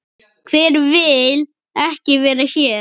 Hver vill ekki vera hér?